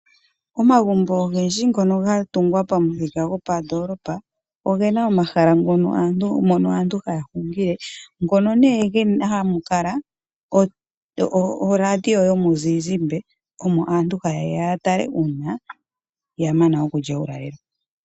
Omagumbo ogendji ngono ga tungwa pamithika gopandolopa ogena omahala mono haya hungile. Ngono nee hamu kala oradio yomuzizimbe omo aantu ha yeya ya tale, uuna ya mana okulya uulalelo.